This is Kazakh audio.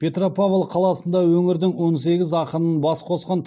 петропавл қаласында өңірдің он сегіз ақынын бас қосқан